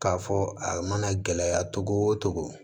K'a fɔ a mana gɛlɛya cogo o cogo